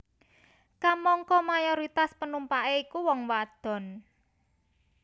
Kamangka mayoritas panumpaké iku wong wadon